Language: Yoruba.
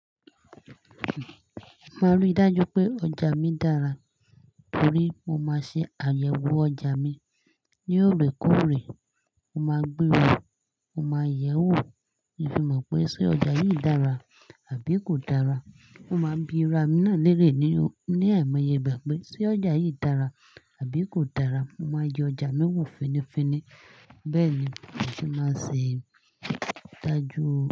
Máa rí dájú pé ọjà mi dára. Torí mo máa ṣe àyẹ̀wò ọjà mi ní òrèkóòrè. Mo máa gbewó, mo máa yẹwò bí fi mọ̀ pé ṣé ọjà yìí dára àbí kò dára. Mo máa bi ra mi náà lérè ní, ní ẹ̀ẹ̀maiye gbà pé ṣé ọjà yìí dára àbí kò dára. Mo máa jẹ ọjà mi wò fínifíní. Bẹ́ẹ̀ ni mo ti máa ṣe ìdájú.